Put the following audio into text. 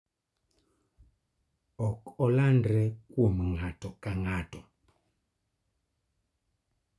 Ok olandre kuom ng�ato ka ng�ato.